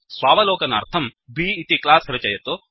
स्वावलोकनार्थम् B इति class रचयतु